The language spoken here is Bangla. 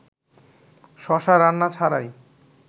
শশা রান্না ছাড়াই